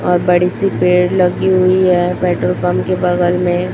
और बड़ी- सी पेड़ लगी हुई है पेट्रोल पंप के बगल में --